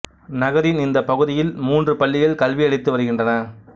நகரின் இந்த பகுதியில் மூன்று பள்ளிகள் கல்வி அளித்து வருகின்றன